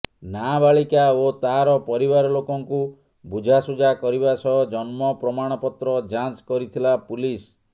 ନାବାଳିକା ଓ ତାର ପରିବାର ଲୋକଙ୍କୁ ବୁଝାସୁଝା କରିବା ସହ ଜନ୍ମ ପ୍ରମାଣ ପତ୍ର ଯାଞ୍ଚ କରିଥିଲା ପୁଲିସ